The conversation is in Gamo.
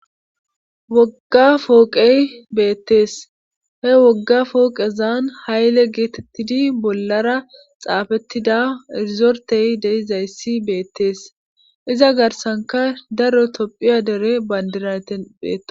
Wogga fooqey beettees he wogga fooqezan hayle geetettidi bollara xaafettida erizortey deizayssi beettees iza garsanka daro tophiya dere bandiraten bethosona.